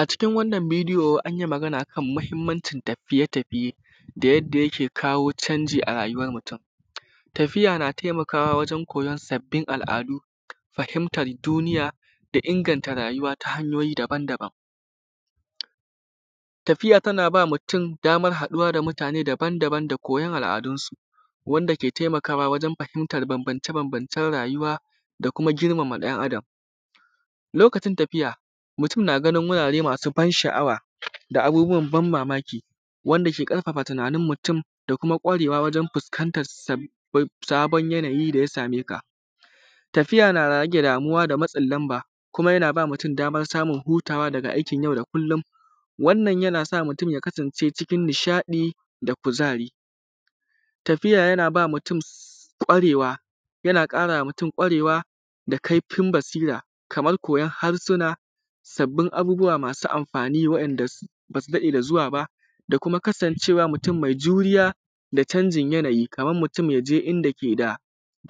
A cikin wannan bideyo anyi Magana akan mahimmancin tafiye tafiye da yadda yake kawo canji a rayuwar mutum. Tafiya na taimakawa wajen koyon sabbin al’adu fahimtar duniya da inganta rayuwa ta hanyoyi daban daban. Tafiya tana ba mutum baman haɗuwa da mutanre daban daban da koyon al’adun su wanda ke taimakawa wajen fahimtan banbance banbance rayuwa da kuma girmama ɗan adam. Lokacin tafiya mutun na ganin wurare masu ban sha’awa, abubuwan ban mamaki wanda ke ƙarfafa tunanin mutum da kuma kwarewa wajen fuskan tan sabon yanayi daya sameka,, tafiya na rage damuwa da matsin lamba kuma yana ba mutun baman hutawa daga aikin yau da kullum, wannan yanasa mutun ya kasance cikin nishaɗi da kuzari. Tafiya yana karama mutun kwarewa da kaifin basira, kamar koyon harsuna koyon abubuwa masu amfani wanda basu daɗe da zuwa ba da kuma kasan cewa mutun mai juriya da canjin yanayikaman mutun yaje inda keda